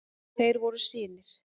Þeir voru synir